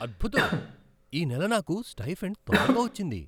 అద్భుతం! ఈ నెల నాకు స్టైఫండ్ తొందరగా వచ్చింది!